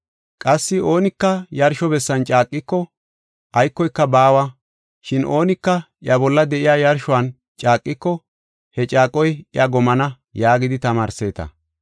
Qassi ‘Oonika yarsho bessan caaqiko, aykoyka baawa. Shin oonika iya bolla de7iya yarshuwan caaqiko, he caaqoy iya gomana’ yaagidi tamaarseeta.